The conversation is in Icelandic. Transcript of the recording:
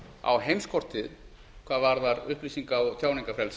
á heimskortið hvað varðar upplýsinga og tjáningarfrelsi